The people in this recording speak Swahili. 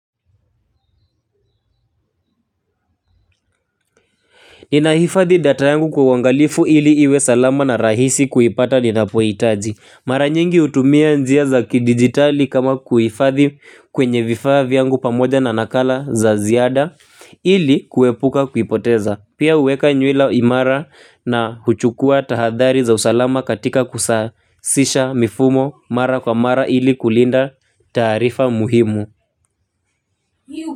Ninahifadhi data yangu kwa uangalifu ile iwe salama na rahisi kuipata ninapohitaji. Mara nyingi hutumia njia za kidijitali kama kuifadhi kwenye vifaa vyangu pamoja na nakala za ziada ili kuepuka kuipoteza. Pia huweka nywila imara na huchukua tahadhari za usalama katika kusasisha mifumo mara kwa mara ili kulinda taarifa muhimu.